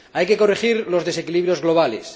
Hay que corregir los desequilibrios globales.